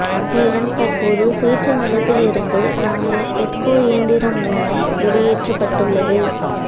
மேலும் தற்போது சேற்று நிலத்திலிருந்து யானை பெக்கோ இயந்திரம் மூலம் வெளியேற்றப்பட்டுள்ளது